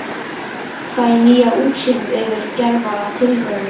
Fæ nýja útsýn yfir gervalla tilveruna.